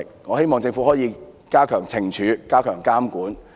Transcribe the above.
我希望政府可以加強懲處，並加強監管。